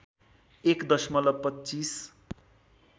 एक दशमलव २५